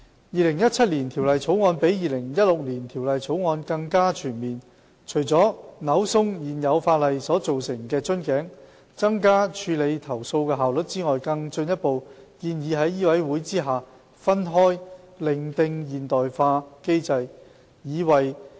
《2017年條例草案》比《2016年條例草案》更加全面，除了扭鬆現有法例所造成的瓶頸，增加處理投訴的效率外，更進一步建議在醫委會下分開另訂現代化機制。